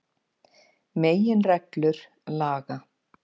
Meginreglur laga.